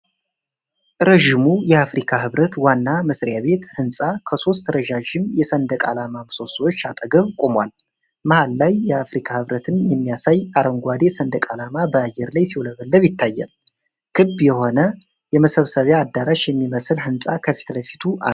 ረጅሙ የአፍሪካ ህብረት ዋና መስሪያ ቤት ሕንፃ ከሶስት ረዣዥም የሰንደቅ ዓላማ ምሰሶዎች አጠገብ ቆሟል። መሀል ላይ የአፍሪካ ህብረትን የሚያሳይ አረንጓዴ ሰንደቅ ዓላማ በአየር ላይ ሲውለበለብ ይታያል። ክብ የሆነ፣ የመሰብሰቢያ አዳራሽ የሚመስል ሕንፃ ከፊት ለፊቱ አለው።